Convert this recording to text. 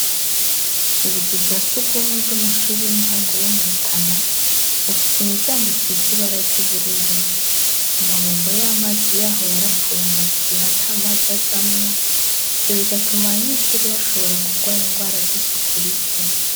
Ubuzu bwa s'urwumwe bw'amashure y'intango yo mu Rutana, bufise imiryango isize ibara ry'ubururu. Amabombo y'amazi yaho yarapfuye amaze igihe ata mazi azamwo, ivyo bigatuma abanyeshure bashobora kurwara ingwara z'isuku rike.